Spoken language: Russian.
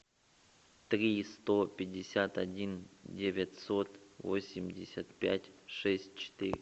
три сто пятьдесят один девятьсот восемьдесят пять шесть четыре